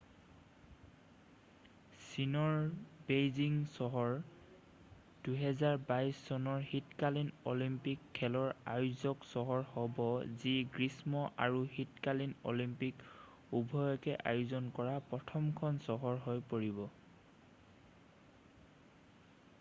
চীনৰ বেইজিং চহৰ 2022 চনৰ শীতকালীন অলিম্পিক খেলৰ আয়োজক চহৰ হ'ব যি গ্ৰীষ্ম আৰু শীতকালীন অলিম্পিক উভয়কে আয়োজন কৰা প্ৰথমখন চহৰ হৈ পৰিব